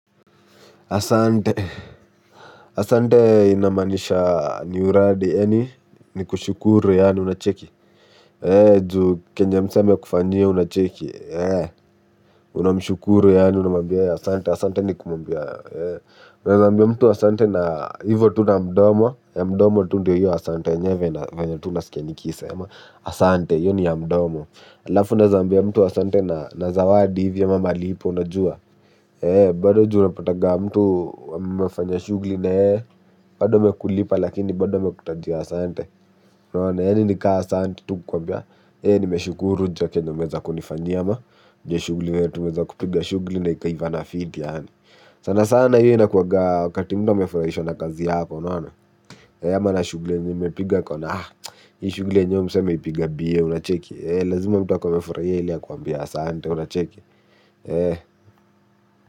Asante, asante inamaanisha ni uradi yaani, ni kushukuru yaani unacheki. Eh, juu kenye msee amekufanyia unacheki, unamshukuru yaani unamwmbia asante, asante ni kumwambia. Unawezaambia mtu asante na hivo tu na mdomo, ya mdomo tu ndio yu asante yenyewe na venye tu unaskia nikiisema, asante, hiyo ni ya mdomo. Halafu unaweza ambia mtu asante na zawadi hivi ama malipo, unajua. Ee bado juu unapataga mtu mmefanya shughuli na yeye, bado amekulipa lakini bado amekutajia asante, unaona yaani nika asante tu kukwambia nimeshukuru juu ya kenye nimeweza kunifanyia ama, juu ya shughuli yenye tumeweza kupiga shughuli na ikaivana fiti yaani. Sana sana hiyo inakuwaga wakati mtu amefurahishwa na kazi yako unaona. Ama na shughuli yenye mmepiga akaona ah, hii shughuli enyewe huyu msee ameipiga mbio unacheki. Lazima mtu akuwe amefurahia ili akuambie asante unacheki.